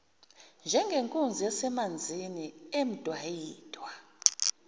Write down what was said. njengenkunzi yasemanzini emdwayidwa